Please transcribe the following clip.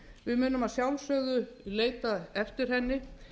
við munum að sjálfsögðu leita eftir henni